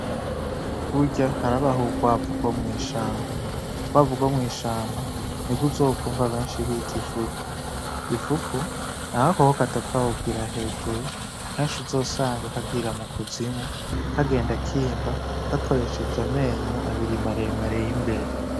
Burya harabah'ubukwavu bwo mw'ishamba nibw'uzokumva benshi bit'imfuku . Imfuku n'agakoko kadapfa kugira hejuru , kensh'uzosanga kagira mu kuzimu kagenda kimba, gakoreshej'amenyo abiri maremare y'imbere.